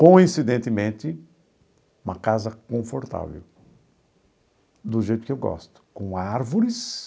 Coincidentemente, uma casa confortável, do jeito que eu gosto, com árvores,